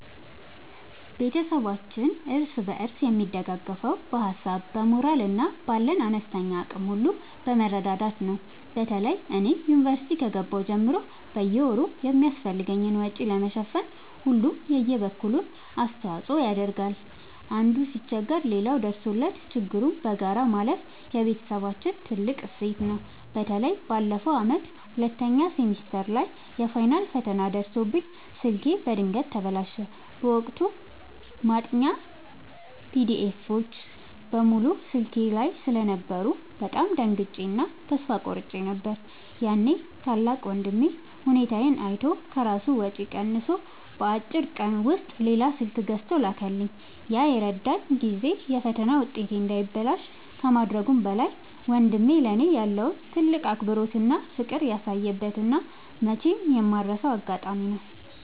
ቤተሰባችን እርስ በርስ የሚደጋገፈው በሀሳብ፣ በሞራል እና ባለን አነስተኛ አቅም ሁሉ በመረዳዳት ነው። በተለይ እኔ ዩኒቨርሲቲ ከገባሁ ጀምሮ በየወሩ የሚያስፈልገኝን ወጪ ለመሸፈን ሁሉም የበኩሉን አስተዋጽኦ ያደርጋል። አንዱ ሲቸገር ሌላው ደርሶለት ችግሩን በጋራ ማለፍ የቤተሰባችን ትልቅ እሴት ነው። በተለይ ባለፈው ዓመት ሁለተኛ ሴሚስተር ላይ የፋይናል ፈተና ደርሶብኝ ስልኬ በድንገት ተበላሸ። በወቅቱ ማጥኛ ፒዲኤፎች (PDFs) በሙሉ ስልኬ ላይ ስለነበሩ በጣም ደንግጬ እና ተስፋ ቆርጬ ነበር። ያኔ ታላቅ ወንድሜ ሁኔታዬን አይቶ ከራሱ ወጪ ቀንሶ በአጭር ቀን ውስጥ ሌላ ስልክ ገዝቶ ላከልኝ። ያ የረዳኝ ጊዜ የፈተና ውጤቴ እንዳይበላሽ ከማድረጉም በላይ፣ ወንድሜ ለእኔ ያለውን ትልቅ አክብሮትና ፍቅር ያሳየበት እና መቼም የማልረሳው አጋጣሚ ነው።